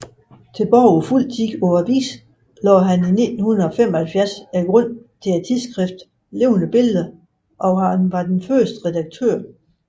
Fuldtids tilbage på avisen lagde han i 1975 grunden til tidsskriftet Levende Billeder og var dets første redaktør